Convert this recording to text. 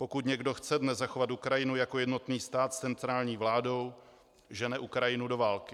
Pokud někdo chce dnes zachovat Ukrajinu jako jednotný stát s centrální vládou, žene Ukrajinu do války.